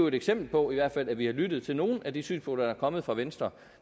et eksempel på at vi har lyttet til nogle af de synspunkter der er kommet fra venstre